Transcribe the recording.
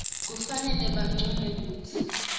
kufanele bancume kutsi